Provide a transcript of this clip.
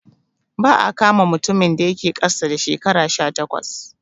Ba'a kama mutumin da yake ƙasa da shekara sha takwas